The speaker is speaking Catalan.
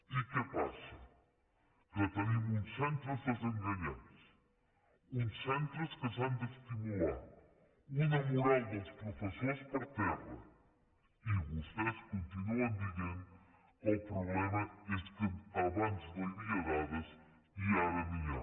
i què passa que tenim uns centres desenganyats uns centres que s’han d’estimular una moral dels professors per terra i vostès continuen dient que el problema és que abans no hi havia dades i ara n’hi ha